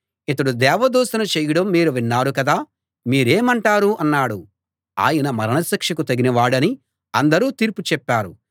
ఇతడు దేవ దూషణ చేయడం మీరు విన్నారు కదా మీరేమంటారు అన్నాడు ఆయన మరణశిక్షకు తగిన వాడని అందరూ తీర్పు చెప్పారు